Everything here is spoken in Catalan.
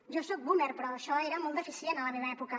jo soc boomer però això era molt deficient a la meva època